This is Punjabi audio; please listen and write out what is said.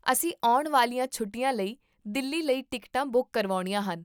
ਅਸੀਂ ਆਉਣ ਵਾਲੀਆਂ ਛੁੱਟੀਆਂ ਲਈ ਦਿੱਲੀ ਲਈ ਟਿਕਟਾਂ ਬੁੱਕ ਕਰਵਾਉਣੀਆਂ ਹਨ